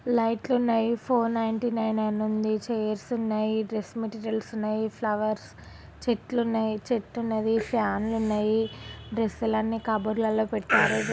లైట్లు ఉన్నాయి four ninety nine అని ఉంది చైర్స్ ఉన్నాయి డ్రెస్ మెటీరియల్స్ ఉన్నాయి ఫ్లవర్స్ చెట్లు ఉన్నాయి చెట్టు ఉన్నది ఫ్యాన్లు ఉన్నాయి డ్రెస్సులు అన్నీ క బోర్డ్ ల లో పెట్టారు.